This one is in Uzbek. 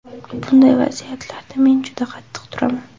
Bunday vaziyatlarga men juda qattiq turaman.